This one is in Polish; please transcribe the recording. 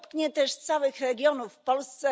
Dotknie też całe regiony w Polsce.